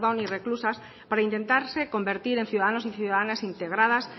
y reclusas para intentarse convertir en ciudadanos y ciudadanas integradas